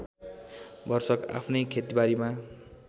भरसक आफ्नै खेतबारीमा